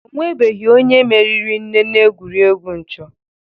Ọ nwebeghi onye meriri nne n'egwuregwu nchọ.